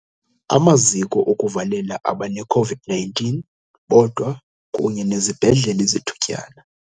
Amaziko okuvalela abaneCOVID-19 bodwa kunye nezibhedlele zethutyana.